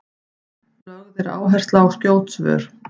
lögð er áhersla á skjót svör